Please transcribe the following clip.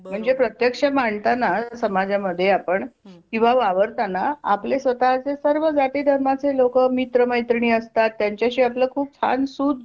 म्हणजे प्रत्यक्ष मांडताना समाज मध्ये आपण किंवा वावरताना आपले स्वतःचे सर्व जाती धर्माचे लोक मित्र मैत्रिणी असतात त्यांच्याशी आपलं खूप छान सूत जुळले